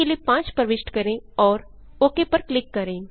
आई के लिए 5 प्रविष्ट करें और ओक पर क्लिक करें